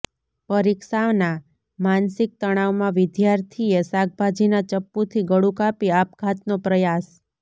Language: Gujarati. પરીક્ષાના માનસિક તણાવમાં વિદ્યાર્થીએ શાકભાજીના ચપ્પુથી ગળું કાપી આપઘાતનો પ્રયાસ